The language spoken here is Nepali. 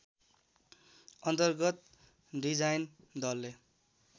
अन्तर्गत डिजाइन दलले